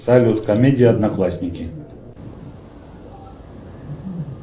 салют комедия одноклассники